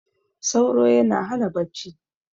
sauro yana Hana bacci